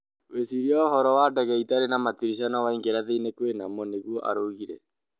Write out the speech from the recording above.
Wecirie ũhoro wa ndege ĩtarĩ na matirisha no waingĩra thĩinĩ kwĩnamo", nĩgũo araugire